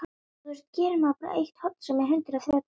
Það er sama kvenlega grettan á vörum hennar.